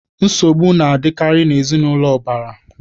Nsogbu na-adịkarị n'ezinaụlọ ụbara.